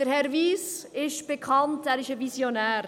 Herr Wyss ist bekannt, er ist ein Visionär.